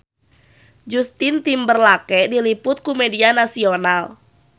Justin Timberlake diliput ku media nasional